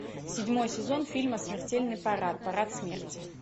седьмой сезон фильма смертельный парад парад смерти